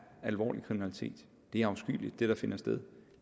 alvorlig kriminalitet det der finder sted